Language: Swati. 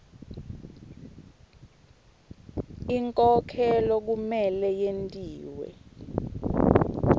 inkhokhelo kumele yentiwe